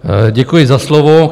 Děkuji za slovo.